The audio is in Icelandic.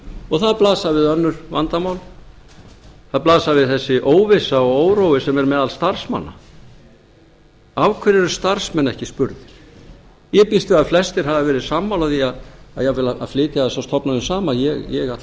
og það blasa við önnur vandamál það blasir við þessi óvissa og órói sem er meðal starfsmanna af hverju eru starfsmenn ekki spurðir ég býst við að flestir hafi verið sammála því jafnvel að flytja þessar stofnanir saman ég ætla